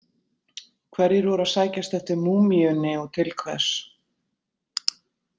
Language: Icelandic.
Hverjir voru að sækjast eftir múmíunni og til hvers?